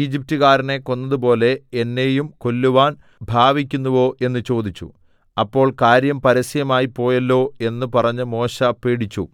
ഈജിപ്ത്കാരനെ കൊന്നതുപോലെ എന്നെയും കൊല്ലുവാൻ ഭാവിക്കുന്നുവോ എന്നു ചോദിച്ചു അപ്പോൾ കാര്യം പരസ്യമായിപ്പോയല്ലോ എന്ന് പറഞ്ഞ് മോശെ പേടിച്ചു